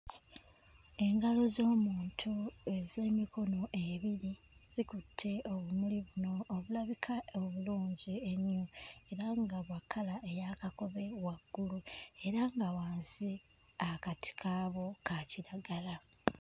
Engalo z'omuntu ez'emikono ebiri zikutte obumuli buno obulabika obulungi ennyo era nga bwa kkala eya kakobe waggulu era nga wansi akati kaabwo ka kiragala.